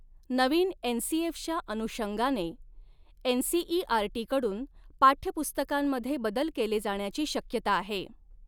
नवीन एनसीएफच्या अनुषंगाने एनसीईआरटीकडून पाठ्यपुस्तकांमध्ये बदल केले जाण्याची शक्यता आहे.